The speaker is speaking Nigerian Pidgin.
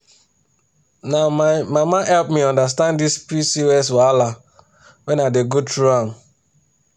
na my mama help me understand this pcos wahala when i dey go through am.